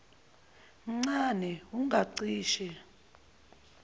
mncane wu ngacishe